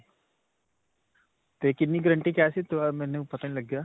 'ਤੇ ਕਿੰਨੀ guarantee ਕਿਹਾ ਸੀ ਮੈਨੂੰ ਪਤਾ ਨੀ ਲੱਗਿਆ?